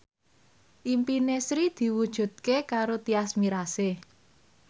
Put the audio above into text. impine Sri diwujudke karo Tyas Mirasih